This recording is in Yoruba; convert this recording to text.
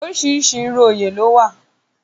Oríṣiríṣi irú oyè lówà.